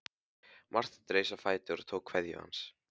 Marteinn reis á fætur og tók kveðju hans.